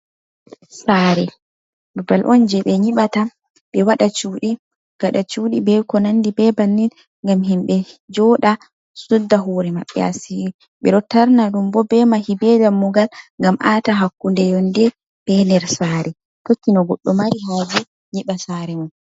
Sare babbal on jei ɓe nyiɓata, ɓe waɗa cuɗi, gaɗa cuɗi, be ko nandi be bannin. Ngam himɓe joɗa, sudda hore maɓɓe asiiri. Ɓe ɗo tarna ɗum bo be mahi be dammugal ngam ata hakkunde yonde be nder sare, tokki no goɗɗo mari haje nyiɓa sare mum.